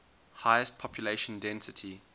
highest population density